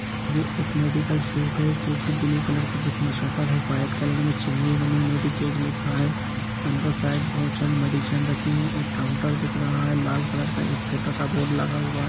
ये एक medical shop हैजो की ब्लू कलर जिसमे शट्टर है व्हाइट कलर संगिवनी मेडिकेज लिखा है अंदर सारी बहुत सारी मेडीशन रखी हैएक काउंटर दिख रहा है लाल कलर का एक छोटा स बोर्ड लगा हुआ है।